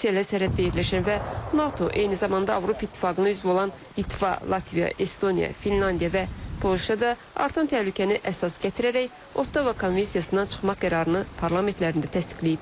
Rusiya ilə sərhəddə yerləşən və NATO, eyni zamanda Avropa İttifaqının üzvü olan Litva, Latviya, Estoniya, Finlandiya və Polşa da artan təhlükəni əsas gətirərək Ottawa Konvensiyasından çıxmaq qərarını parlamentlərində təsdiqləyiblər.